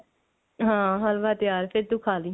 ਹਾਂ ਹਲਵਾ ਤਿਆਰ ਫੇਰ ਤੂੰ ਖਾਲੀ